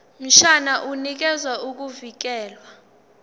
mshwana unikeza ukuvikelwa